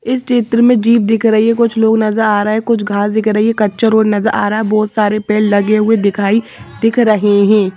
इस चित्र में जीभ दिख रही है कुछ लोग नजर आ रहा है कुछ घास दिख रही है कच्चा रोड नजर आ रहा है बहुत सारे पैर लगे हुए दिखाई दिख रहे हैं।